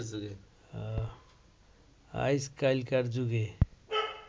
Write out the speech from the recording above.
আইজকাইলকার যুগে